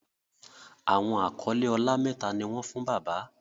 Awọn akọle ọlá méta ní wón fún bàbá.